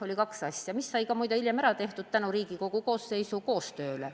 Oli kaks asja, mis sai muide hiljem ära tehtud tänu Riigikogu koosseisu koostööle.